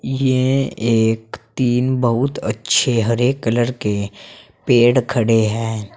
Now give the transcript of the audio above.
ये एक तीन बहुत अच्छे हरे कलर के पेड़ खड़े हैं।